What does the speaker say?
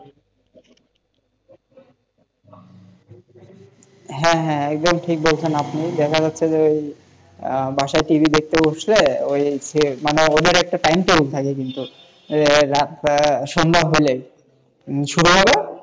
হ্যাঁ হ্যাঁ একদম ঠিক বলেছেন আপনি দেখা যাচ্ছে যে বাসায় TV দেখতে বসলে ওইযে মানে ওদের একটা timetable থাকে কিন্তু রাতটা, সন্ধ্যা হলেই শুরু হলো,